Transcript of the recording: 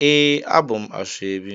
Ee, abum asoebi